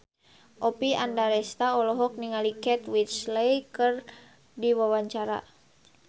Oppie Andaresta olohok ningali Kate Winslet keur diwawancara